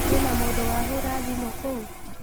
Kwĩna mũndũ wahũra thimũ kũu?